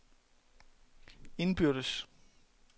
indbyrdes